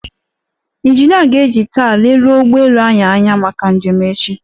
Ịnjinịa ga-eji taa leruo ụgbọelu anyị anya maka njem echi.